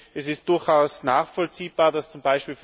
Es ist durchaus nachvollziehbar, dass z.